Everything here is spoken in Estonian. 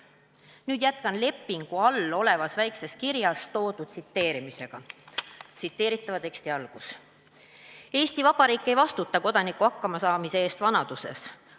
" Nüüd jätkan lepingu all väikses kirjas toodu tsiteerimisega: "Eesti Vabariik ei vastuta Kodaniku hakkamasaamise eest vanaduses.